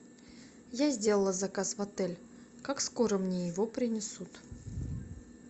я сделала заказ в отель как скоро мне его принесут